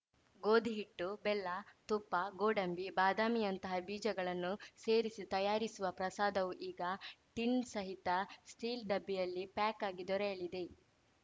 ಗೋಧಿಹಿಟ್ಟು ಬೆಲ್ಲ ತುಪ್ಪ ಗೋಡಂಬಿಬಾದಾಮಿಯಂಥ ಬೀಜಗಳನ್ನು ಸೇರಿಸಿ ತಯಾರಿಸುವ ಪ್ರಸಾದವು ಈಗ ಟಿನ್‌ ಸಹಿತ ಸ್ಟೀಲ್ ಡಬ್ಬಿಯಲ್ಲಿ ಪ್ಯಾಕ್‌ ಆಗಿ ದೊರೆಯಲಿದೆ